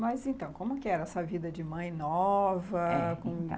Mas, então, como que era essa vida de mãe nova? Então,